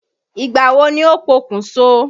Ìgbà wo ni ó pokùn so?